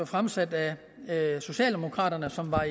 fremsat af socialdemokraterne som var